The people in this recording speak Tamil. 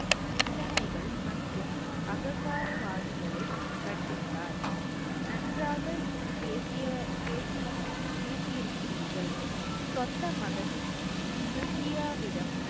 நிந்தனைகள் மற்றும் அகங்காரவாதிகளை தண்டித்தார். நன்றாக பேசிய~ பேசி~ பேசி இருக்கிறீர்கள் சொந்த மகன் ப்ரிதியாவிடம்